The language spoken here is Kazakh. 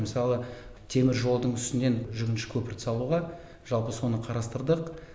мысалы теміржолдың үстінен жүгінші көпірді салуға жалпы соны қарастырдық